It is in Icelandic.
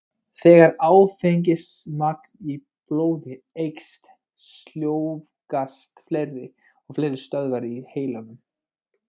Þegar áfengismagn í blóði eykst, sljóvgast fleiri og fleiri stöðvar í heilanum.